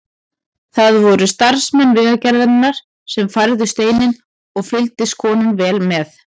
Það voru starfsmenn Vegagerðarinnar sem færðu steininn og fylgdist konan vel með.